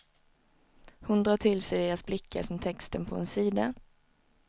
Hon drar till sig deras blickar som texten på en sida.